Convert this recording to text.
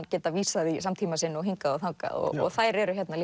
geta vísað í samtíma sinn og hingað og þangað og þær eru hérna